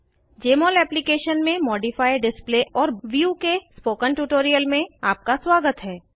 जमोल application में modify display और view के स्पोकन ट्यूटोरियल में आपका स्वागत है